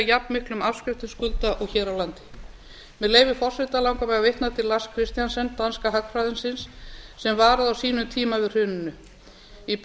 jafnmiklum afskriftum skulda og hér á landi með leyfi forseta langar mig að vitna til lars christiansen danska hagfræðingsins sem varaði á sínum tíma við hruninu í